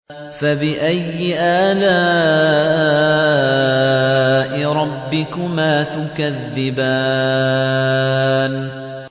فَبِأَيِّ آلَاءِ رَبِّكُمَا تُكَذِّبَانِ